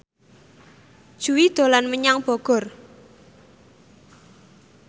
Jui dolan menyang Bogor